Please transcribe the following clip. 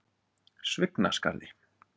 Svignaskarði